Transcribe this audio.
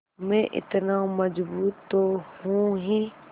मैं इतना मज़बूत तो हूँ ही